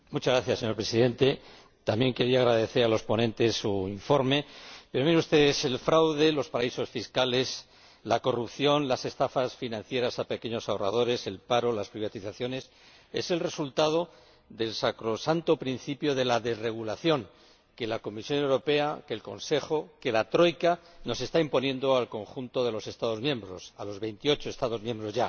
Señor Presidente, yo también quiero agradecer a los ponentes su informe, pero el fraude, los paraísos fiscales, la corrupción, las estafas financieras a los pequeños ahorradores, el paro, las privatizaciones son el resultado del sacrosanto principio de la desregulación que la Comisión Europea, el Consejo, la troika nos están imponiendo al conjunto de los Estados miembros, a los 28 Estados miembros ya.